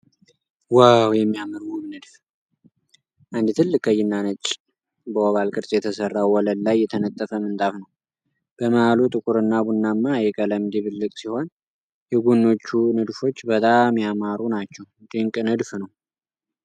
ዋው፣ የሚያምር ውብ ንድፍ! አንድ ትልቅ ቀይና ነጭ፣ በኦቫል ቅርጽ የተሠራ፣ ወለል ላይ የተነጠፈ ምንጣፍ ነው። በመሃሉ ጥቁርና ቡናማ የቀለም ድብልቅ ሲሆን፣ የጎኖቹ ንድፎች በጣም ያማሩ ናቸው። ድንቅ ንድፍ ነው!